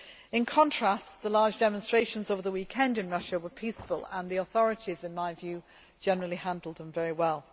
In contrast, the large demonstrations over the weekend in Russia were peaceful and the authorities, in my view generally handled them very well.